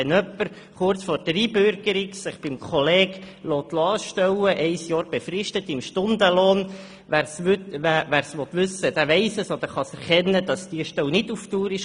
Wenn sich jemand kurz vor der Einbürgerung von einem Kollegen für ein Jahr befristet im Stundenlohn anstellen lässt, kann man – wenn man es wissen will – erkennen, dass diese Stelle nicht dauerhaft ist.